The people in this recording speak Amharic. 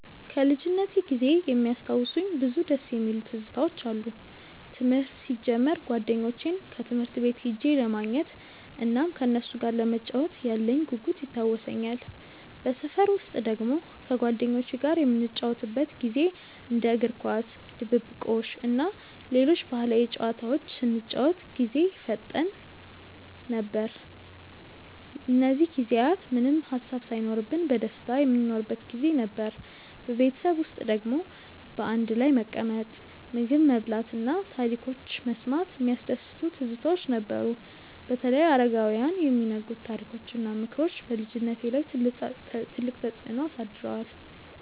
ከልጅነቴ ጊዜ የሚያስታውሱኝ ብዙ ደስ የሚሉ ትዝታዎች አሉኝ። ትምህርት ሲጀምር ጓደኞቼን ትምህርት ቤት ሄጄ ለማግኘት እናም ከነሱ ጋር ለመጫወት ያለኝ ጉጉት ይታወሰኛል። በሰፈር ውስጥ ደግሞ ከጓደኞቼ ጋር የምንጫወትበት ጊዜ እንደ እግር ኳስ፣ ድብብቆሽ እና ሌሎች ባህላዊ ጨዋታዎች ስንጫወት ጊዜ ይፈጠን ነበር። እነዚህ ጊዜያት ምንም ሃሳብ ሳይኖርብን በደስታ የምንኖርበት ጊዜ ነበር። በቤተሰብ ውስጥ ደግሞ በአንድ ላይ መቀመጥ፣ ምግብ መብላት እና ታሪኮች መስማት የሚያስደስቱ ትዝታዎች ነበሩ። በተለይ አረጋውያን የሚነግሩት ታሪኮች እና ምክሮች በልጅነቴ ላይ ትልቅ ተፅዕኖ አሳድረዋል።